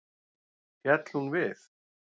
Féll hún við.